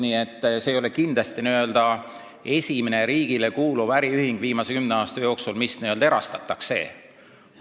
Nii et see ei ole kindlasti esimene riigile kuuluv äriühing viimase kümne aasta jooksul, mis n-ö erastatakse.